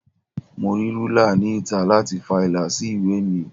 Mo rí rúlà ni ìta láti fa ìlà sí ìwé mi.